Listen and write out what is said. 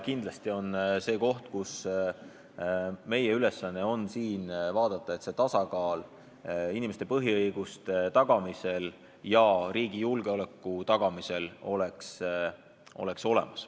Kindlasti on see koht, kus on meie ülesanne vaadata, et inimeste põhiõiguste ja riigi julgeoleku tagamise vahel oleks tasakaal olemas.